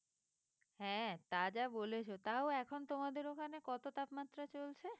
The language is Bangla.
হ্যাঁ তা যা বলেছ তাও এখন তোমাদের ওখানে কত তাপমাত্রা চলছে?